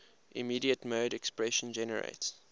immediate mode expression generates